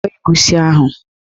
Kwọọ egusi ahụ!